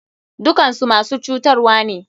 Dukakansu masu cutarwane.